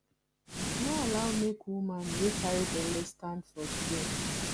no allow make woman wey carry belle stand for queue